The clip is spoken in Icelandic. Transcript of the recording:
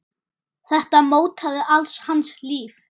Þetta mótaði allt hans líf.